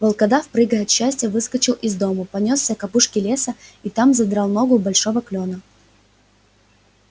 волкодав прыгая от счастья выскочил из дому понёсся к опушке леса и там задрал ногу у большого клёна